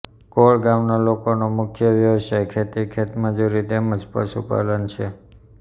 કોળ ગામના લોકોનો મુખ્ય વ્યવસાય ખેતી ખેતમજૂરી તેમ જ પશુપાલન છે